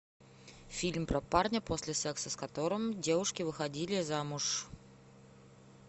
фильм про парня после секса с которым девушки выходили замуж